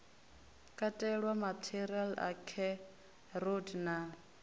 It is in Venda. katelwa maṱari a kheroti na